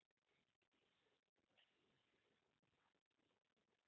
blanck